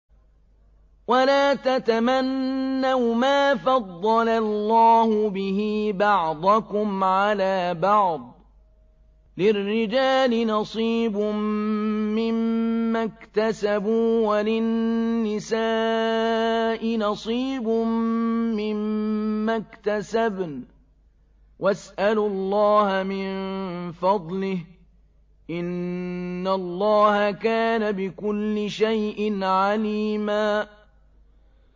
وَلَا تَتَمَنَّوْا مَا فَضَّلَ اللَّهُ بِهِ بَعْضَكُمْ عَلَىٰ بَعْضٍ ۚ لِّلرِّجَالِ نَصِيبٌ مِّمَّا اكْتَسَبُوا ۖ وَلِلنِّسَاءِ نَصِيبٌ مِّمَّا اكْتَسَبْنَ ۚ وَاسْأَلُوا اللَّهَ مِن فَضْلِهِ ۗ إِنَّ اللَّهَ كَانَ بِكُلِّ شَيْءٍ عَلِيمًا